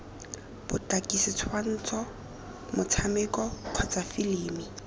botaki setshwantsho motshameko kgotsa filimi